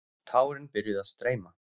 Tárin byrjuðu að streyma.